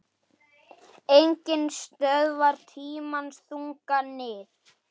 Enginn stöðvar tímans þunga nið